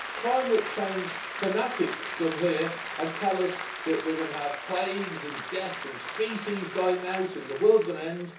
Climate change fanatics come here and tell us that we're going to have plagues and death and species dying out and the world's going to end.